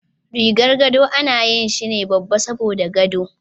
Rigar gado ana yi shine babba saboda gado.